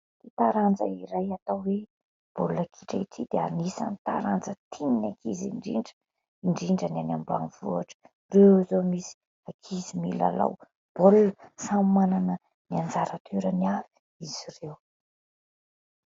Ity taranja iray atao hoe baolina kitra ity dia anisany taranja tian'ny ankizy indrindra, indrindra ny any ambanivohitra, ireo izao misy ankizy milalao baolina, samy manana ny anjara toerany avy izy ireo.